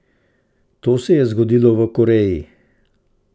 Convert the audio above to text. To se je zgodilo v Koreji.